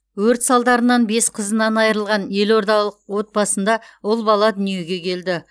өрт салдарынан бес қызынан айырылған еордалық отбасында ұл бала дүниеге келді